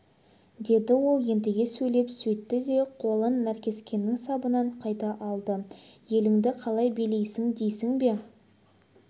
деді ол ентіге сөйлеп сөйтті де қолын наркескеннің сабынан қайта алды еліңді қалай билейсің дейсің бе